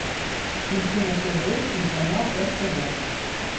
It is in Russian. включи на тв телеканал ртд